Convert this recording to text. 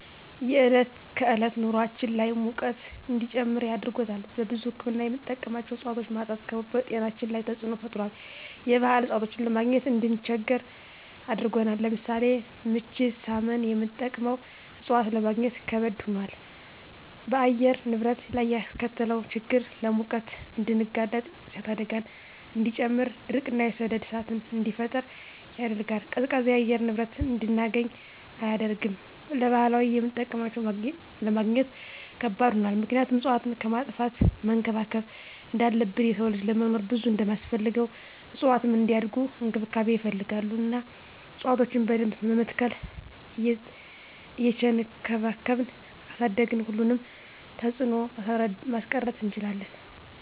የዕለት ከዕለት ኑራችን ላይ ሙቀት እንዲጨምር አድርጎታል። ለብዙ ህክምና የምንጠቀማቸው እፅዋቶች ማጣት በጤናችን ላይ ተፅዕኖ ፈጥሯል የባህል እፅዋቶችን ለማግኘት እንድንቸገር አድርጎናል። ለምሳሌ ምች ሳመን የምንጠቀመው እፅዋት ለማግኘት ከበድ ሆኗል። በአየር ንብረት ላይ ያስከተለው ችግር ለሙቀት እንድንጋለጥ የእሳት አደጋን እንዲጨምር ድርቅ እና የሰደድ እሳትን እንዲፈጠር ያደርጋል። ቀዝቃዛ የአየር ንብረት እንድናገኝ አያደርግም። ለባህላዊ የምጠቀምባቸው ለማግኘት ከባድ ሆኗል ምክንያቱም እፅዋትን ከማጥፋት መንከባከብ እንዳለብን የሰው ልጅ ለመኖር ብዙ እንደማስፈልገው እፅዋትም እንዲያድጉ እንክብካቤ ይፈልጋሉ እና እፅዋቶችን በደንብ በመትከል እየቸንከባከብን ካሳደግን ሁሉንም ተፅዕኖ ማስቀረት እንችላለን።